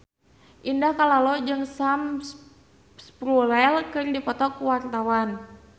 Indah Kalalo jeung Sam Spruell keur dipoto ku wartawan